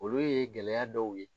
Olu ye gɛlɛya dɔw ye.